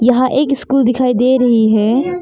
यहां एक स्कूल दिखाई दे रही है।